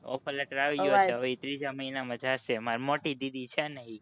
offer latter આવી ગયો છે અવાજ હવે એ ત્રીજા મહીના માં જ્શે માર મોટી દીદી છે ને ઈ